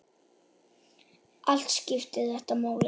Allt skiptir þetta máli.